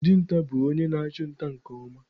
Dinta bụ onye na-achụ nta nke ọma.